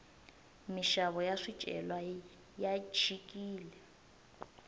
minxavo ya swicelwa ya chikile